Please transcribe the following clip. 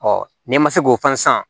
n'i ma se k'o fana san